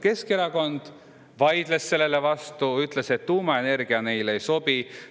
Keskerakond vaidles sellele vastu, ütles, et tuumaenergia neile ei sobi.